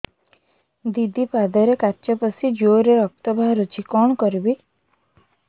ଦିଦି ପାଦରେ କାଚ ପଶି ଜୋରରେ ରକ୍ତ ବାହାରୁଛି କଣ କରିଵି